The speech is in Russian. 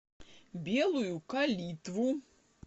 белую калитву